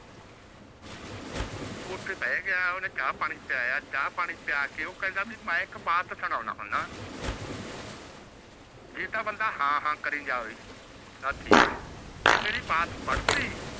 ਓਥ ਬਹ ਗਯਾ ਓਹਨੇ ਚਾ ਪਾਣੀ ਪੀਲਾਯਾ ਚ ਪਾਣੀ ਪਿਆ ਕੇ ਉਹ ਕਹਿੰਦਾ ਵੀ ਮੈਂ ਇਕ ਬਾਤ ਸੁਨਾਉਣਾ ਹੁੰਦਾ ਜੇ ਤਾ ਬੰਦਾ ਹਾਂ ਹਾਂ ਕਰੀ ਜਾਵੇ ਤਾਂ ਠੀਕ ਹੈ ਜੇ ਮੇਰੀ ਬਾਤ ਬਢਤੀ